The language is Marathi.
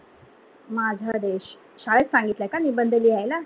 माझा देश, शाळेत सांगितळा का निबंध लिहायला?